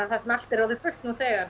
þar sem allt er orðið fullt nú þegar